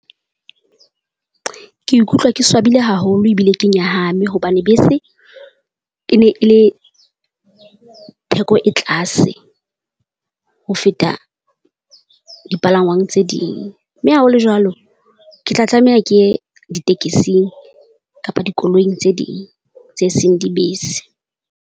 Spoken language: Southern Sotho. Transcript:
Ke ikutlwa ke swabile haholo ebile ke nyahame hobane bese e ne e le theko e tlase ho feta dipalangwang tse ding, mme ha ho le jwalo, ke tla tlameha ke ye ditekesing kapa dikoloing tse ding tse seng dibese.